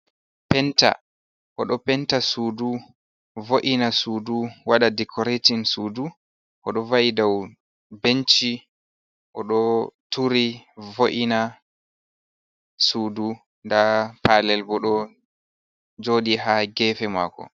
Penta o ɗo penta suudu, vo’ina suudu, waɗa dikoreetin suudu, o ɗo va’i dow benci, o ɗo turi vo’ina suudu, ndaa paalel bo, ɗo jooɗi haa geefe maako.